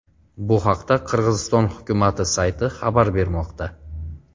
Bu haqda Qirg‘iziston hukumati sayti xabar bermoqda .